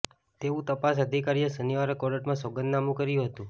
તેવું તપાસ અધિકારીએ શનિવારે કોર્ટમાં સોગંદનામંુ કર્યુ હતંુ